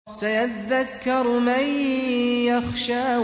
سَيَذَّكَّرُ مَن يَخْشَىٰ